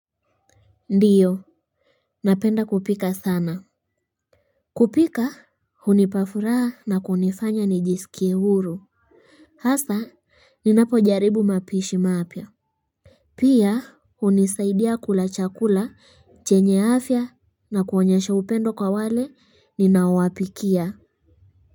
Ndiyo napenda kupika sana kupika hunipa furaha na kunifanya nijisikie huru hasa ninapo jaribu mapishi mapya pia unisaidia kula chakula chenye afya na kuonyesha upendo kwa wale ninaowapikia.